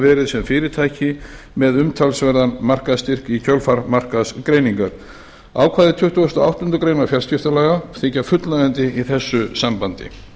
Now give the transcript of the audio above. verið sem fyrirtæki með umtalsverðan markaðsstyrk í kjölfar markaðsgreiningar ákvæði tuttugasta og áttundu grein fjarskiptalaga þykja fullnægjandi í þessu sambandi